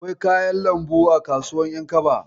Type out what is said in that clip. Akwai kayan lambu a kasuwar ƴankaba.